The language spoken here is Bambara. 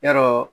Yarɔ